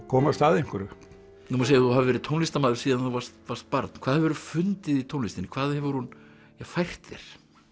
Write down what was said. komast að einhverju nú má segja að þú hafir verið tónlistarmaður síðan þú varst barn hvað hefurðu fundið í tónlistinni hvað hefur hún fært þér